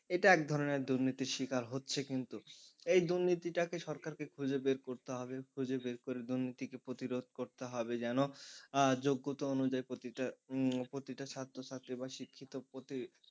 এটা এক ধরনের দুর্নীতির শিকার হচ্ছে কিন্তু এই দুর্নীতিটাকে সরকারকে খুঁজে বের করতে হবে খুঁজে বের করে দুর্নীতিকে প্রতিরোধ করতে হবে যেন আহ যোগ্যতা অনুযায়ী প্রতিটা ছাত্রছাত্রী বা শিক্ষিত প্রতি,